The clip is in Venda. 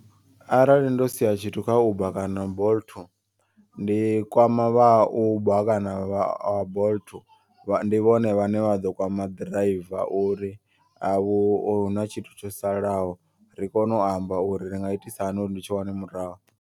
Arali ndo sia tshithu kha uber kana bolt ndi kwama vha ha uber kana bolt. Ndi vhone vhane vhaḓo kwama ḓiraiva uri avhu huna tshithu tsho salaho. Ri kone u amba uri ri nga itisa hani uri ndi tshi wane murahu.